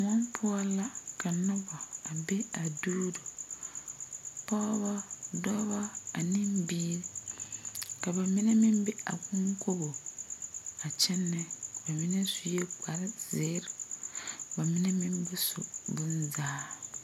Koɔ poʊ la ka noba a be a duuro. Pɔgɔbɔ, dɔɔbɔ, ane biire. Ka ba mene meŋ be a konkogo a kyenɛ. Ba mene sue kpar ziire. Ba mene meŋ ba su boŋ zaa.